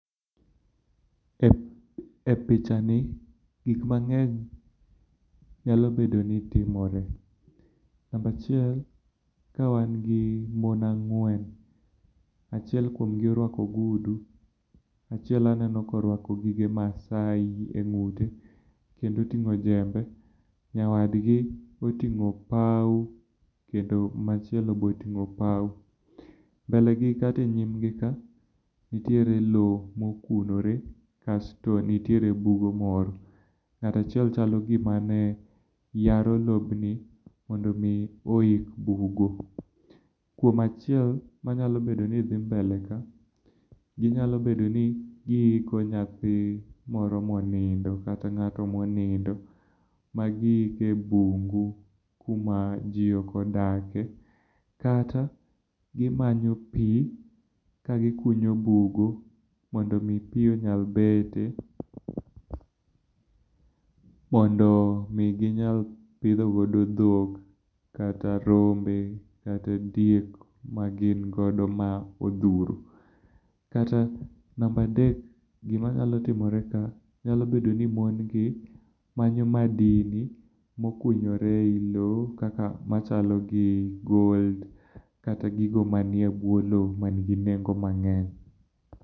E pichani gik mangeny nyalo bedo ni timore, namba achiel kawan gi mon ang'wen, achiel kuomgi orwako ogudu, achiel aneno ka orwako gige Maasai e ng'ute kendo otingo jambe, nyawadgi otingo opau, kendo machielo be otingo opau. Mbelegi kata e nyim gi ka nitiere loo mokunore kasto nitiere bugo moro. Ng'at achiel chalo gimane yaro lobni mondo mi oik bugo. Kuom achiel manya bedo ni dhi mbele ka ginyalo bedo ni giiko nyathi moro monindo kata ngato monindo ma giiko e bungu kama jii ok odake kata gimanyo pii kagikunyo bugo mondo mi pii onyal bete mondo mi ginyal pidho godo dhok kata rombe, kata diek magin godo ma odhuro. Namba adek gima nyalo timore ka nyalo bedo ni mon gi manyo madini mokunyore ei loo kaka machalo gi gold kata gigo manie buo loo manigi nengo mangeny